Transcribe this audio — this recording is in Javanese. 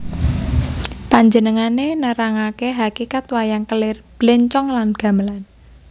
Panjenengané nerangaké hakikat wayang kelir blencong lan gamelan